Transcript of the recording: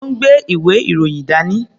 Ó ń gbé ìwé-ìròyìn dání.